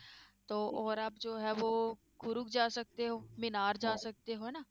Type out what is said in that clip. ਹਨਾ